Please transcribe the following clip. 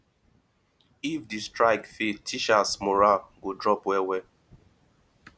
if di strike fail teachers morale go drop well well